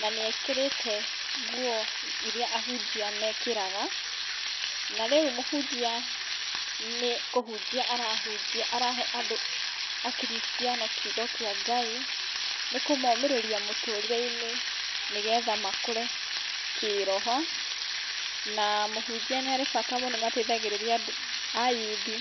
na nĩ ekĩrĩte nguo iria ahunjia mekĩraga. Na rĩu mũhunjia nĩ kũhunjia arahunjia arahe andũ akristiano kiugo kĩa Ngai nĩ kũmomĩrĩria mũtũrĩre-inĩ nĩ getha makũre kĩroho. Na mũhunjia nĩ arĩ bata mũno nĩ ateithagĩrĩria andũ ayuthi.